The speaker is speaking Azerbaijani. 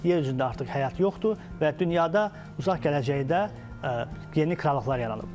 Yer üzündə artıq həyat yoxdur və dünyada uzaq gələcəyində yeni krallıqlar yaranıb.